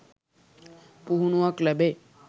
පුහුණුවක් ලැබේ.